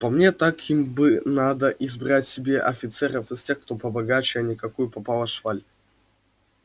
по мне так им бы надо избрать себе офицеров из тех кто побогаче а не какую попало шваль